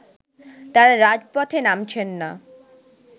তারা রাজপথে নামছেন না